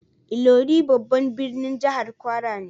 Ilorin babban birnin jihar kwara ne.